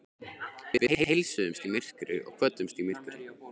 Við heilsuðumst í myrkri og kvöddumst í myrkri.